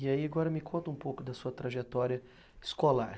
E aí, agora me conta um pouco da sua trajetória escolar.